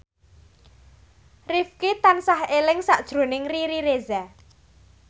Rifqi tansah eling sakjroning Riri Reza